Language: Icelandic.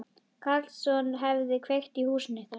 Karlsson hefði kveikt í húsinu ykkar.